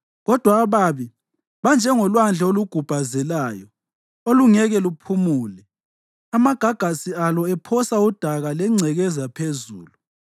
Kodwa ababi banjengolwandle olugubhazelayo, olungeke luphumule, amagagasi alo ephosa udaka lengcekeza phezulu.